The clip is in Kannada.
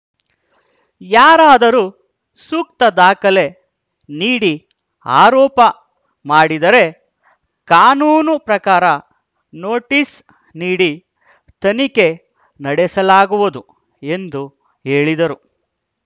ಯಾರಾದರೂ ಸೂಕ್ತ ದಾಖಲೆ ನೀಡಿ ಆರೋಪ ಮಾಡಿದರೆ ಕಾನೂನು ಪ್ರಕಾರ ನೋಟಿಸ್‌ ನೀಡಿ ತನಿಖೆ ನಡೆಸಲಾಗುವುದು ಎಂದು ಹೇಳಿದರು